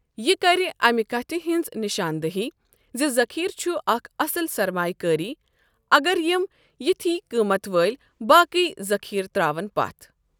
یہِ کرِ اَمہِ کَتھِ ہٕنٛز نشاندٕہی زِ ذخیرٕ چھُ اکھ اصل سرمایہِ کٲری اگر یِم اِتھی قۭمتھ وٲلۍ باقی ذٔخیرٕ تراوَن پتھ۔ ۔